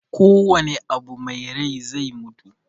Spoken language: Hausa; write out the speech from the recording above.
Kowanne abu me rai zai mutu.